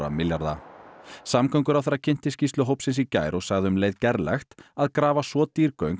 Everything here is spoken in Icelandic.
milljarða samgönguráðherra kynnti skýrslu hópsins í gær og sagði um leið gerlegt að grafa svo dýr göng